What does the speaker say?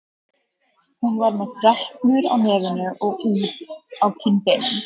Hún var með freknur á nefinu og út á kinnbeinin.